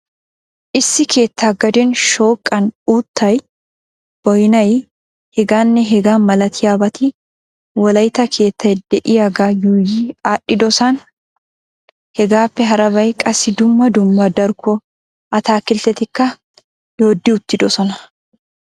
Issi keettà gaden shooqan uuttay, boynnay heganne hegaa malaatiyaabati wolaytta keettay de'iyaaga yuuyyi aadhdhidoosona. Hegaappe harabay qassi dumma dumma darkko ataakilttetikka doodi uttidoosona.